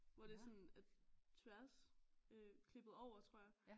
Hvor det er sådan at tværs øh klippet over tror jeg